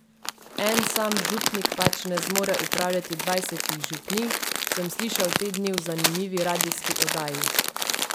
En sam župnik pač ne zmore upravljati dvajsetih župnij, sem slišal te dni v zanimivi radijski oddaji.